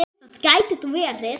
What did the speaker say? Það gæti þó verið.